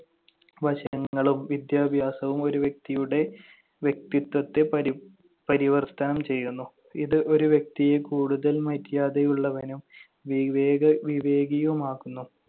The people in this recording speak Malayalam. വശങ്ങളും വിദ്യാഭ്യാസവും ഒരു വ്യക്തിയുടെ വ്യക്തിത്വത്തെ പരി~ പരിവർത്തനം ചെയ്യുന്നു. ഇത് ഒരു വ്യക്തിയെ കൂടുതൽ മര്യാദയുള്ളവനും വിവേക~ വിവേകിയുമാക്കുന്നു.